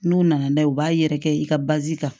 N'u nana n'a ye u b'a yɛrɛkɛ i ka kan